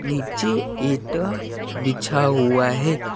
नीचे ईंटा बिछा हुआ है।